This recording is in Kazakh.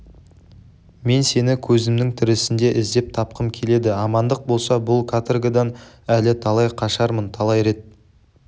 мен сені көзімнің тірісінде іздеп тапқым келеді амандық болса бұл каторгадан әлі талай қашармын талай рет